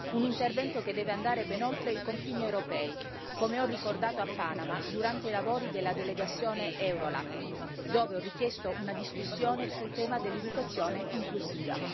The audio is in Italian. Un intervento che deve andare ben oltre i confini europei, come ho ricordato a Panama durante i lavori della delegazione EuroLat, dove ho richiesto una discussione sul tema dell'educazione inclusiva.